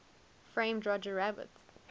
framed roger rabbit